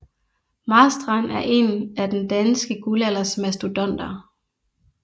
Marstrand er en af den danske guldalders mastodonter